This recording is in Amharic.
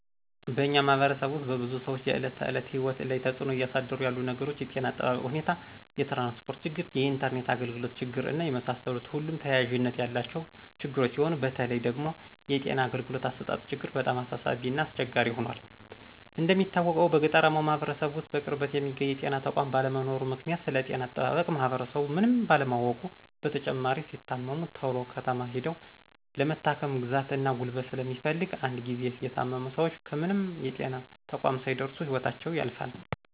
በእኛ ማህበረሰብ ውስጥ በብዙ ሰዎች የእለት ተዕለት ህይወት ላይ ተፅዕኖ እያሳደሩ ያሉት ነገሮች የጤና እጠባበቅ ሁኔታ፣ የትራንስፖርት ችግር፣ የኢንተርኔት አግልግሎት ችግር እና የመሳሰሉት ሁሉም ተያያዥነት ያላቸው ችግሮች ሲሆኑ በተለይ ደግሞ የጤና አገልግሎት አሰጣጥ ችግር በጣም አሳሳቢ እና አስቸጋሪ ሁኗል። እንደሚታወቀው በገጠራማው ማህበረሰብ ውስጥ በቅርበት የሚገኝ የጤና ተቋም ባለመኖሩ ምክንያት ስለጤና አጠባበቅ ማህበረሰቡ ምንም ካለማወቁ በተጨማሪ ሲታመሙ ተሎ ከተማ ሂደው ለመታከም ግዛት እና ጉልበት ስለሚፈልግ እንድ ጊዚ የታመሙ ሰወች ከምንም የጤና ተቋም ሳይደርሱ ህይወታቸው ያልፋል።